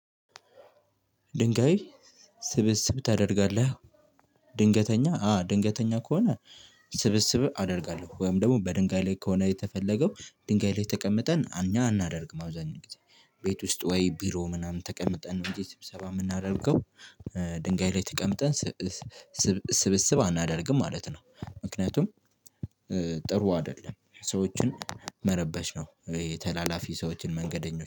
ድንጋይ ስብስብ ታደርጋለህ? ድንገተኛ አ ድንገተኛ ከሆነ። ስብስብ አደርጋለሁ ወይም ደግሞ በድንጋይ ላይ ከሆነ የተፈለገው ድንጋይ ላይ ተቀምጠን እኛ አናደርግም አብዛኛው ጊዜ ቤት ውስጥ ወይ ቢሮ ምናምን ተቀምጠን ነው እንጂ ስብሰባ የምናደርገው። ድንጋይ ላይ ተቀምጠን ስብ ስብስብ አናደርግም ማለት ነው። ምክንያቱም ጥሩ አይደለም ሰዎችን መረበሽ ነው። ተላላፊ ሰዎችን መንገደኞች